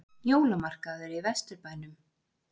Jólamarkaður í Vesturbænum